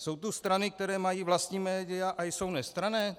Jsou tu strany, které mají vlastní média a jsou nestranné?